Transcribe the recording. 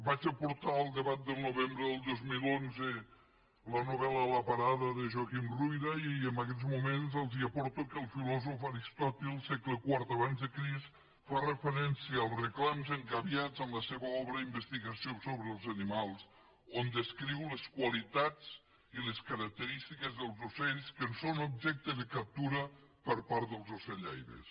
vaig aportar al debat del novembre del dos mil onze la novel·la la parada de joaquim ruyra i en aguests moments els aporto que el filòsof aristòtil segle iv abans de crist fa referència als reclams engabiats en la seva obra investigació sobre els animalsles qualitats i les característiques dels ocells que són objecte de captura per part dels ocellaires